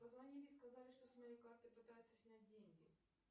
позвонили сказали что с моей карты пытаются снять деньги